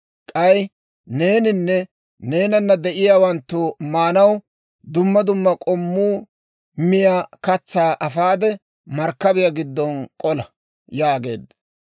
K'ay neeninne neenanna de'iyaawanttu maanaw, dumma dumma k'ommu miyaa katsaa Eefeera, markkabiyaa giddon k'ola» yaageedda.